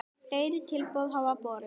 Fleiri tilboð hafa borist.